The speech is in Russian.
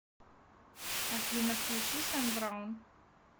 афина включи сэм браун